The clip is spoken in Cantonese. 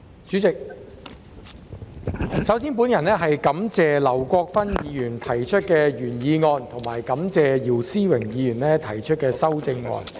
主席，首先，我感謝劉國勳議員提出原議案和姚思榮議員提出修正案。